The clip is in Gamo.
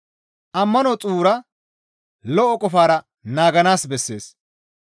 Ammano xuura, lo7o qofara naaganaas bessees.